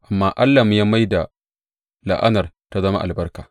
Amma Allahnmu, ya mai da la’anar ta zama albarka.